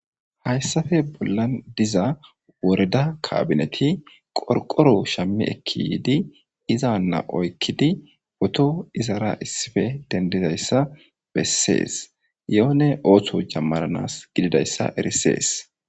Hayssafe bollan diza woreda kabineti qorqoro shammi ekki yiidi izanna oykkidi boto izara issife dendizayssa bessees yoone ooththo jammananas gididayssa erisees.